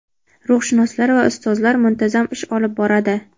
ruhshunoslar va ustozlar muntazam ish olib boradi.